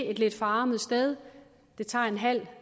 et lidt forarmet sted det tager en halv